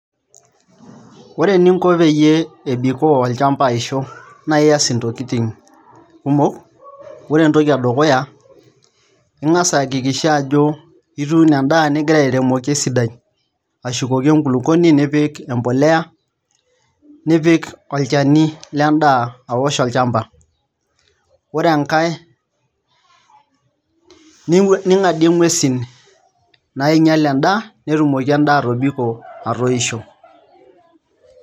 Ore eninko peyie ebikoo olchamba aisho naa iaas ntokitin kumok ore entoki edukuya Inga's aiakikisha ajo ituuno endaa nigira iapalilia esidai ashukoki enkulukuoni nipik embolea nipik olchani lendaa aosh olchamba ore enkae ning'adie nguesi nainyial endaa pee etumoki endaa atobiko atoisho.